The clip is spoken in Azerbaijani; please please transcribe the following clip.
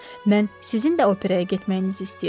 Mən sizin də operaya getməyinizi istəyirəm.